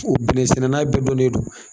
O bɛnnɛ sɛnɛna bɛɛ donnen non.